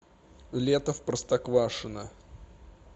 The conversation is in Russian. лето в простоквашино